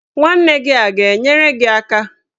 Nwanna gị a ga-enyere gị aka?